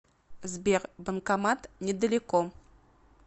сбер банкомат недалеко